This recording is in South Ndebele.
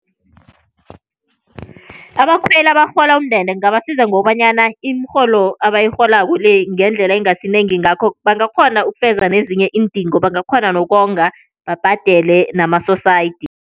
Abakhweli abarhola umndende kungabasiza ngokobanyana imirholo abayirholako le ngendlela ingasinengi ngakho, bangakghona ukufeza nezinye iindingo. Bangakghona nokonga babhadele namasosayidi.